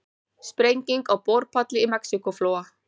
Sprenging á borpalli í Mexíkóflóa